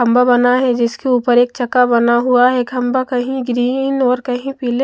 खंबा बना है जिसके ऊपर एक चक्का बना हुआ है खंबा कहीं ग्रीन और कहीं पीले --